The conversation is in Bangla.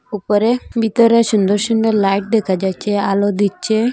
উপরে ভেতরে সুন্দর সুন্দর লাইট দেখা যাচ্ছে আলো দিচ্ছে।